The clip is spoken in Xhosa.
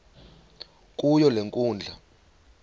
kuyo le nkundla